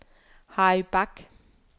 Harry Bach